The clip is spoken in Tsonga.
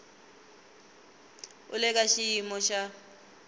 u le ka xiyimo xa